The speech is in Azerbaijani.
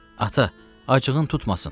Ata, acığın tutmasın.